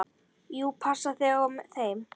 Þú passar þig á þeim.